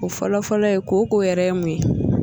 O fɔlɔfɔlɔ ye ko ko yɛrɛ ye mun ye.